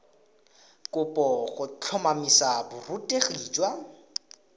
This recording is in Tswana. kopo go tlhotlhomisa borutegi jwa